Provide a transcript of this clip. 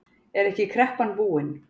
Er ekki kreppan búin?